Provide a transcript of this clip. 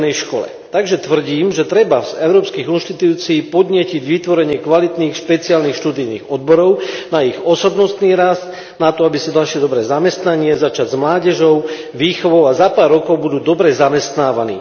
rodinnej škole, takže tvrdím, že treba z európskych inštitúcií podnietiť vytvorenie kvalitných, špeciálnych študijných odborov na ich osobnostný rast, na to, aby si našli dobré zamestnanie, začať s mládežou, výchovou a za pár rokov budú dobre zamestnávaní.